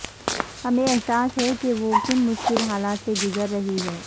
ہمیں احساس ہے کے وہ کن مشکل حالات سے گزر رہی ہیں